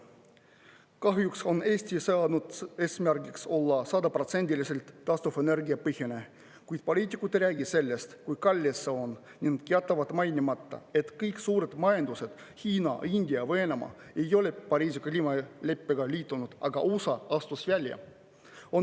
Kahjuks on Eesti seadnud eesmärgiks olla sajaprotsendiliselt taastuvenergiapõhine, kuid poliitikud ei räägi sellest, kui kallis see on, ning jätavad mainimata, et kõik suured majandused – Hiina, India, Venemaa – ei ole Pariisi kliimaleppega liitunud, aga USA astus välja.